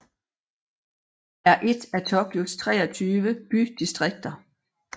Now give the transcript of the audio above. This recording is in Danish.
er et af Tokyos 23 bydistrikter